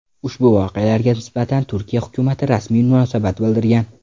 Ushbu voqealarga nisbatan Turkiya hukumati rasmiy munosabat bildirmagan.